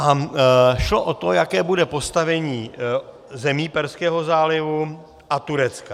A šlo o to, jaké bude postavení zemí Perského zálivu a Turecka.